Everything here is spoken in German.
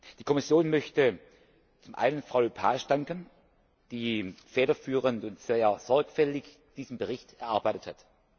Die Kommission möchte zum einen Frau Lepage danken, die federführend und sehr sorgfältig diesen Bericht erarbeitet hat.